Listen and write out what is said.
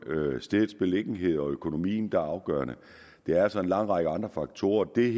er stedets beliggenhed og økonomien der er afgørende det er altså en lang række andre faktorer det